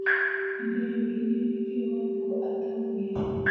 Nĩndeyũririe nĩkĩĩ Wambũgũataumire.